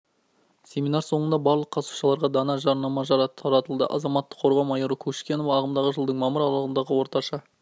семинар соңында барлық қатысушыларға дана жадынама таратылды азаматтық қорғау майоры кушкенова ағымдағы жылдың мамыр аралығында орташа